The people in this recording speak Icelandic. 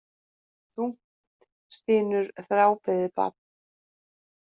Þungt stynur þrábeðið barn.